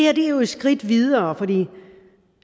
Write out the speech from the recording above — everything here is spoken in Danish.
er et skridt videre for